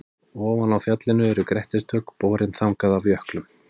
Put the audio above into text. Ofan á fjallinu eru grettistök, borin þangað af jöklum.